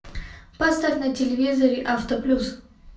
поставь на телевизоре авто плюс